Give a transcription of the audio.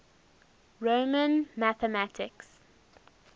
roman mathematics